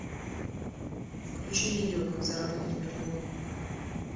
включи видео как заработать миллион